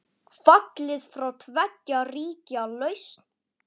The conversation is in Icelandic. Fallið frá tveggja ríkja lausn?